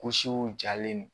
Gosiw jalen d